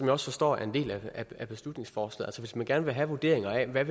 også forstår er en del af beslutningsforslaget altså hvis man gerne vil have vurderinger af hvad